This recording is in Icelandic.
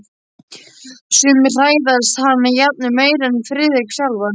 Sumir hræðast hana jafnvel meira en Friðrik sjálfan.